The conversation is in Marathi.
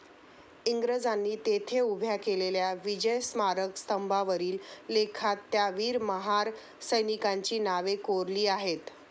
इंग्रजांनी तेथे उभ्या केलेल्या विजयस्मारक स्तंभावरील लेखात त्या वीर महार सैनिकांची नवे कोरली आहेत.